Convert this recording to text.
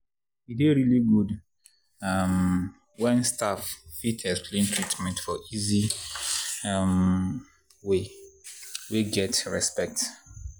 e dey really good um when staff fit explain treatment for easy um way wey get respect.